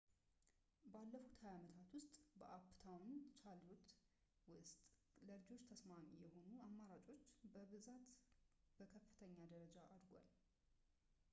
ባለፉት 20 ዓመታት ውስጥ በአፕታውን ቻርሎት ውስጥ ለልጆች ተስማሚ የሆኑ አማራጮች ብዛት በከፍተኛ ደረጃ አድጓል